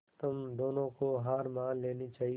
तुम दोनों को हार मान लेनी चाहियें